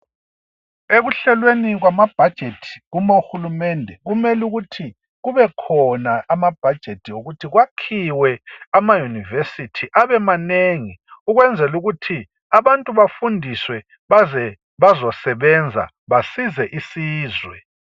Ekuhlelweni kwama budget uma uhulumende kumele ukuthi kube khona amabudget yokuthi kwakhiwe ama university abe manengi ukwenzela ukuthi abantu bafundiswe baze bazosebenza basize isizwe